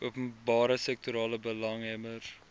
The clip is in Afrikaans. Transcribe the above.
openbare sektorbelanghebbers benoem